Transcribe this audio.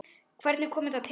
Hvernig kom þetta til?